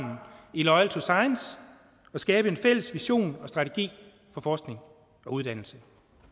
i loyal to science og skabe en fælles vision og strategi for forskning og uddannelse